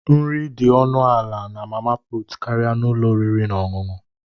Nri dị ọnụ ala na mama put karịa n'ụlọ oriri na ọṅụṅụ